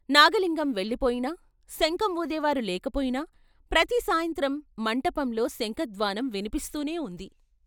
నాగలింగం వెళ్ళిపోయినా, శంఖం వూదేవారు లేకపోయినా ప్రతి సాయంత్రం మంటపంలో శంఖ ధ్వానం విన్పిస్తూనే ఉంది.